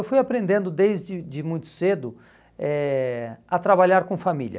Eu fui aprendendo desde de muito cedo eh a trabalhar com família.